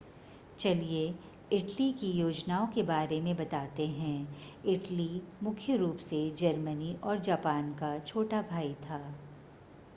चलिए इटली की योजनाओं के बारे में बताते हैं इटली मुख्य रूप से जर्मनी और जापान का छोटा भाई था